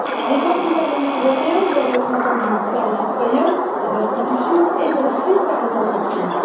Les votes du Parlement européen doivent être entendus par les citoyens, les institutions et aussi par les entreprises.